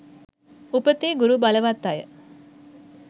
උපතේ ගුරු බලවත් අය